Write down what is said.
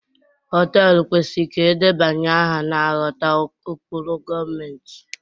họtelu kwesịrị ka edebanye aha na-aghọta ụkpụrụ gọọmentị